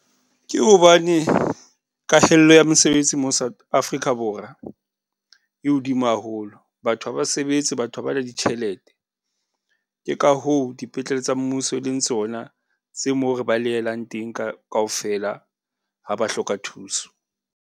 Ke hobane kahello ya mosebetsi mo Africa Borwa e hodimo haholo, batho ha ba sebetse, batho ha ba na ditjhelete. Ke ka hoo, dipetlele tsa mmuso, e leng tsona tse moo re balehelang teng ka kaofela, ha ba hloka thuso.